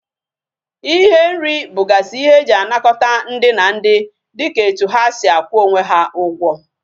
Ihe nri bugasi ihe eji anakota ndi na ndi dika etu ha si akwu onwe ha Ugwo